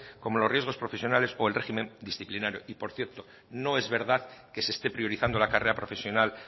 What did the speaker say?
como los riesgos profesionales y el régimen disciplinario y por cierto no es verdad que se esté priorizando la carrera profesional